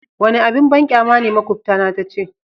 Wani abin banƙyama ne makubtana ta ce.